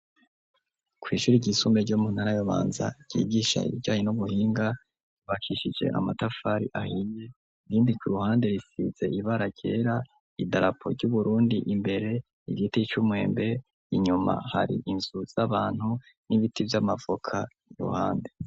Kw'ishuri ry'isumbe ryo muntara yubanza ryigisha ibiryanye n'ubuhinga ibakishije amatafari ahiye rindi ki ruhande risize ibara ryera idarapo ry'uburundi imbere igiti cy'umwembe inyuma hari inzu z'abantu n'ibiti by'amavoka ku ruhande.